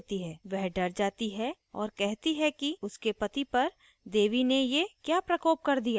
वह डर जाती है और कहती है कि उसके पति पर देवी ने ये she प्रकोप कर दिया